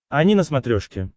ани на смотрешке